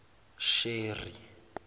sheri